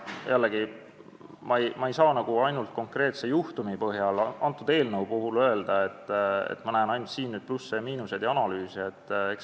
Jällegi, ma ei saa ainult konkreetse juhtumi põhjal, antud eelnõu põhjal öelda, et ma näen ainult siin neid plusse ja miinuseid ja analüüse.